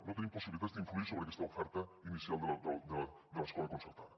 no tenim possibilitats d’influir sobre aquesta oferta inicial de l’escola concertada